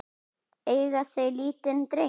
Eiga þau lítinn dreng.